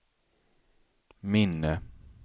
minne